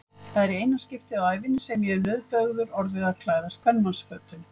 Það er í eina skiptið á ævinni sem ég hef nauðbeygður orðið að klæðast kvenmannsfötum.